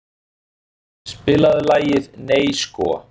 Maj, spilaðu lagið „Nei sko“.